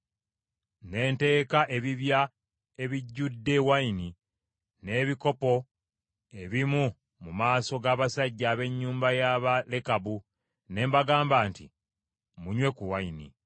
Ne nteeka ebibya ebijjudde envinnyo n’ebikopo ebimu mu maaso g’abasajja ab’ennyumba y’Abalekabu ne mbagamba nti, “Munywe ku nvinnyo.”